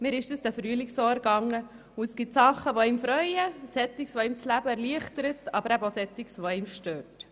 Mir ging das diesen Frühling so und es gab Dinge, die mich freuten, weil sie das Leben erleichtern und solche, die mich störten.